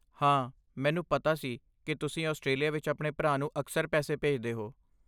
ਹਾਂ, ਮੈਨੂੰ ਪਤਾ ਸੀ ਕਿ ਤੁਸੀਂ ਆਸਟ੍ਰੇਲੀਆ ਵਿੱਚ ਆਪਣੇ ਭਰਾ ਨੂੰ ਅਕਸਰ ਪੈਸੇ ਭੇਜਦੇ ਹੋ।